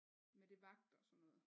Med det vagt og sådan noget